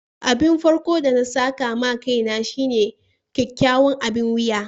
Abin farko'n de na saka ma kaina shine kyakkyawan abin wiya.